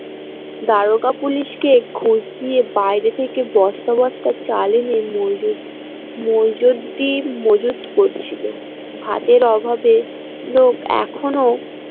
দারোগা police কে ঘুষ দিয়ে বাইরে থেকে বস্তা বস্তা চাল এনে মইজুদ্দিন মজুদ করছিল ভাতের অভাবে লোক এখনো।